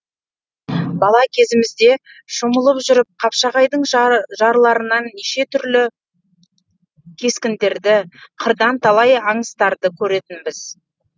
бала кезімізде шомылып жүріп қапшағайдың жарларынан неше түрлі таңбаларды кескіндерді қырдан талай аңыртастарды көретінбіз